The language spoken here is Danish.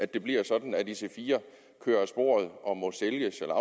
det bliver sådan at ic4 kører af sporet og må sælges eller